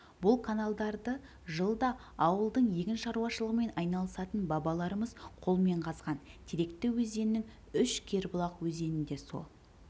бұл каналдарды жылдаы ауылдың егіншаруашылығымен айналысатын бабаларымыз қолмен қазған теректі өзенінің үш кербұлақ өзені де сол